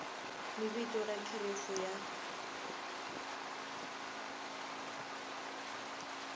ni vito na kherefu ya